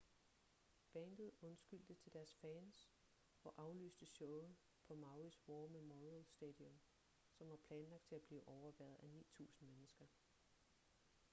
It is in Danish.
bandet undskyldte til deres fans og aflyste showet på mauis war memorial stadium som var planlagt til at blive overværet af 9.000 mennesker